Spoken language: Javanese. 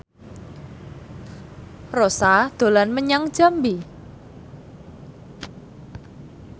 Rossa dolan menyang Jambi